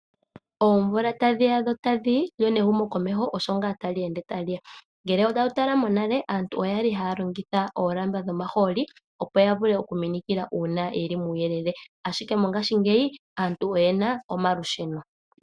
Oomvula tadhi ya dho tadhi yi lyo nehumo komesho osho ngaa tali ende ta li ya. Ngele owa tala monale aantu oyali haya longitha oolamba dhomahooli opo ya vule oku minikila uuna yeli muuyelele, ashike mongashingeyi aantu oyena omalusheno.